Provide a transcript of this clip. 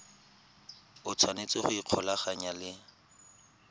o tshwanetse go ikgolaganya le